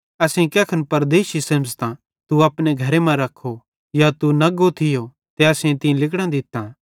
असेईं कैखन परदेशी सेमझ़तां तू अपने घरे मां रख्खो या तू नग्गो थियो ते असेईं तीं लिगड़ां दित्तां